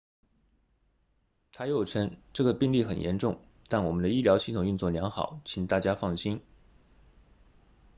他又称这个病例很严重但我们的医疗系统运作良好请大家放心